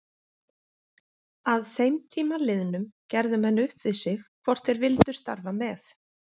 Að þeim tíma liðnum gerðu menn upp við sig hvort þeir vildu starfa með